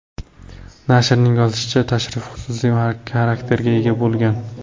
Nashrning yozishicha, tashrif xususiy xarakterga ega bo‘lgan.